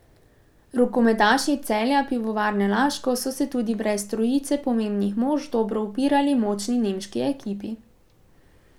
Rokometaši Celja Pivovarne Laško so se tudi brez trojice pomembnih mož dobro upirali močni nemški ekipi.